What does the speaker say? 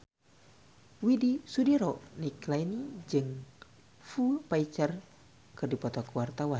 Widy Soediro Nichlany jeung Foo Fighter keur dipoto ku wartawan